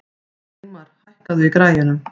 Sigmar, hækkaðu í græjunum.